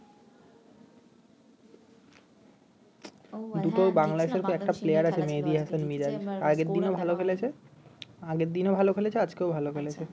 বাংলাদেশের একটা আছে মেহেদি হাসান মিরাজ আগের দিনও ভাল খেলেছে আগের দিনও ভাল খেলেছে আজকেও ভাল খেলেছে